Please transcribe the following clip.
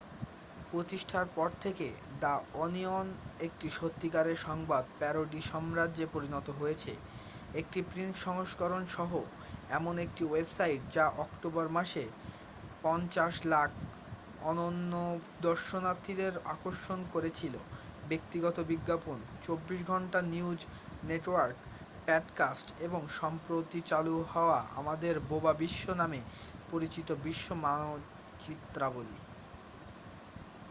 প্রতিষ্ঠার পর থেকে দ্যা ওনিয়ন একটি সত্যিকারের সংবাদ প্যারোডি সাম্রাজ্যে পরিণত হয়েছে একটি প্রিন্ট সংস্করণ সহ এমন একটি ওয়েবসাইট যা অক্টোবর মাসে ৫,০০০,০০০ অনন্য দর্শনার্থীদের আকর্ষণ করেছিল ব্যক্তিগত বিজ্ঞাপন ২৪ ঘন্টা নিউজ নেটওয়ার্ক পডকাস্ট এবং সম্প্রতি চালু হওয়া আমাদের বোবা বিশ্ব নামে পরিচিত বিশ্ব মানচিত্রাবলী ।